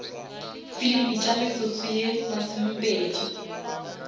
filimi tša metsotso ye masomepedi